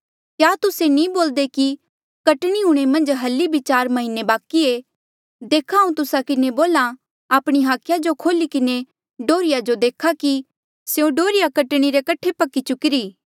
क्या तुस्से नी बोल्दे कि कटणी हूंणे मन्झ हल्ली बी चार म्हीने बाकि ये देखा हांऊँ तुस्सा किन्हें बोल्हा आपणी हाखिया जो खोली किन्हें डोहर्रिया जो देखा कि स्यों डोहर्रिया कटणी रे कठे पक्की चुकीरी